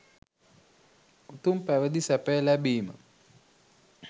උතුම් පැවිදි සැපය ලැබීම